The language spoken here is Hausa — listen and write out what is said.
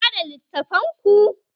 Ku bada littafan ku!